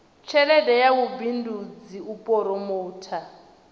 tshelede ya vhubindudzi u phoromotha